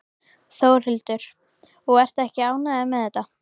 Þórhildur: Og ertu ekki ánægður með þetta?